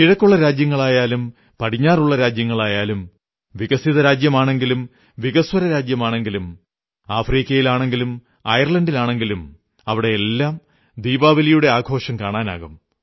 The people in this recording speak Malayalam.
കിഴക്കുള്ള രാജ്യങ്ങളായാലും പടിഞ്ഞാറുള്ള രാജ്യങ്ങളായാലും വികസിത രാജ്യമാണെങ്കിലും വികസ്വര രാജ്യമാണെങ്കിലും അഫ്രിക്കയാണെങ്കിലും അയർലാൻഡാണെങ്കിലും അവിടെയെല്ലാം ദീപാവലിയുടെ ആഘോഷം കാണാനാകും